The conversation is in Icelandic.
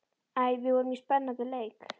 Æ, við vorum í svo spennandi leik.